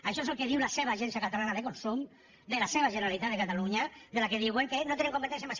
això és el que diu la seva agència catalana de consum de la seva generalitat de catalunya de què diuen que no té competències